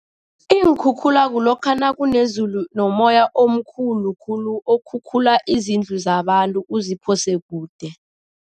Iinkhukhula kulokha nakunezulu nomoya omkhulu khulu, okhukhula izindlu zabantu uziphose kude.